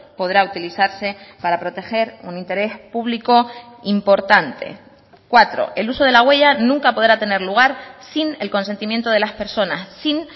podrá utilizarse para proteger un interés público importante cuatro el uso de la huella nunca podrá tener lugar sin el consentimiento de las personas sin